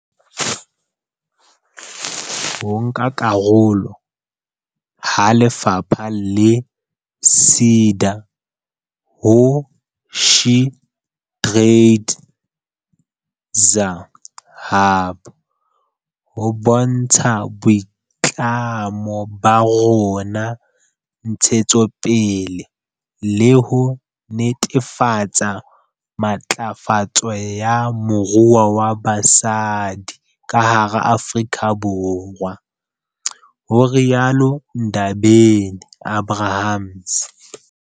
Ho nka karolo ha lefapha le SEDA ho SheTradesZA Hub ho bontsha boitlamo ba rona ntshetsong pele le ho netefatsa matlafatso ya moruo wa basadi ka hara Afrika Borwa, ho rialo Ndabeni-Abrahams.